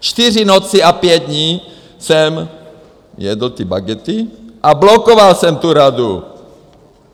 Čtyři noci a pět dní jsem jedl ty bagety a blokoval jsem tu Radu!